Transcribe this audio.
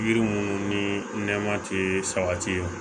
Yiri munnu ni nɛma te sabati